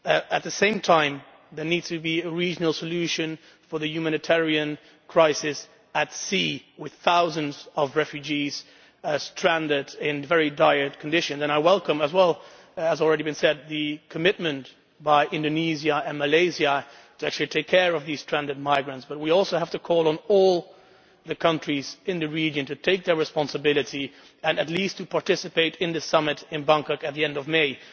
At the same time, there needs to be a regional solution to the humanitarian crisis at sea with thousands of refugees stranded in very dire conditions. I welcome the commitment by Indonesia and Malaysia to actually take care of these stranded migrants, but we also have to call on all the countries in the region to take their responsibility and at least to participate in the summit in Bangkok at the end of May.